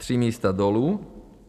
Tři místa dolů.